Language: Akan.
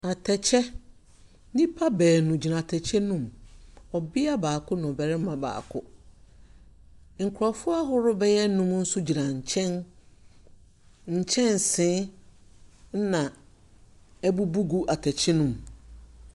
Atɛkyɛ, nnipa baanu gyina atɛkyɛ no mu. Ɔbea baako ne ɔbarima baako. Nkurɔfoɔ ahorow bɛyɛ nnum nso gyina nkyɛn. Nkyɛnse na abubu gu atɛkyɛ no mu.